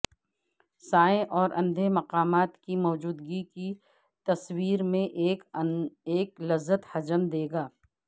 سائے اور اندھے مقامات کی موجودگی کی تصویر میں ایک لذت حجم دے گا